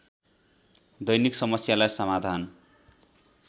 दैनिक समस्यालाई समाधान